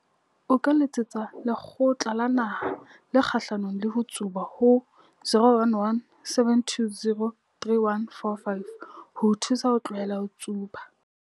O ka letsetsa Lekgotla la Naha le Kgahlanong le ho Tsuba ho 011 720 3145 ho o thusa ho tlohela ho tsuba.